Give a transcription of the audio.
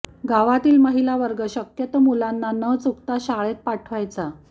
गावातील महिला वर्ग शक्यतो मुलांना न चूकता शाळेत पाठवायाचा